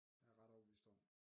Er jeg ret overbevist om